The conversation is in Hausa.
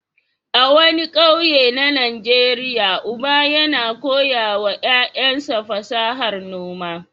A wani ƙauye na Najeriya, uba yana koya wa ƴaƴansa fasahar noma.